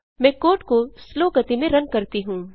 मैं कोड को स्लो गति में रन करती हूँ